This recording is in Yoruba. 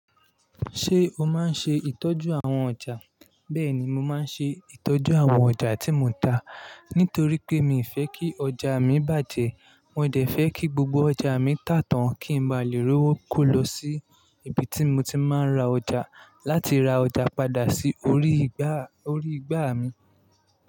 Ṣé o máa ń ṣe ìtọ́jú àwọn ọjà? Bẹ́ẹ̀ni, mo máa ń ṣe ìtọ́jú àwọn ọjà tí mo ń ta nítorí pé mi ò fẹ́ kí ọjà mi bàjẹ́. Mo dẹ̀ fẹ́ kí gbogbo ọjà mi tà tán kí n bá lè rówó ko lọ sí ibi tí mo ti máa ń ra ọjà láti ra ọjà padà sí orí igbà, orí igbà mi.